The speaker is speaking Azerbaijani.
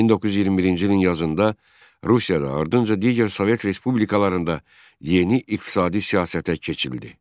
1921-ci ilin yazında Rusiyada ardınca digər Sovet respublikalarında yeni iqtisadi siyasətə keçildi.